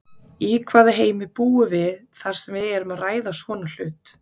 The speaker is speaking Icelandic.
Í hvaða heimi búum við þar sem við erum að ræða svona hlut?